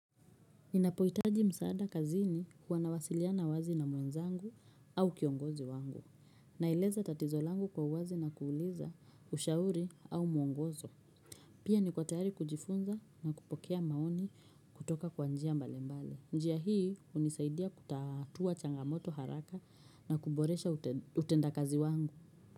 Ninapohitaji msaada kazini huwa nawasiliana wazi na mwenzangu au kiongozi wangu. Naeleza tatizo langu kwa uwazi na kuuliza ushauri au muongozo. Pia niko tayari kujifunza na kupokea maoni kutoka kwa njia mbalimbali. Njia hii hunisaidia kutatua changamoto haraka na kuboresha utendakazi wangu.